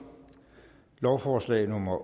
lovforslag nummer